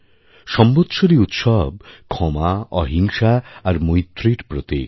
সম্বৎসরি উৎসব ক্ষমা অহিংসা আর মৈত্রীরপ্রতিক